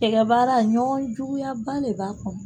Xɛkɛbaara, ɲɔgɔn juguyaba de b'a kɔnɔ.